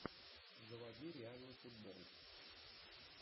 заводи реальный футбол